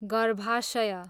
गर्भाशय